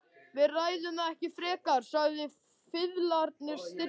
Við ræðum það ekki frekar, sagði fiðlarinn stillilega.